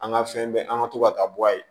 An ka fɛn bɛɛ an ka to ka taa bɔ a ye